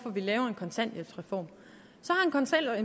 vi laver en kontanthjælpsreform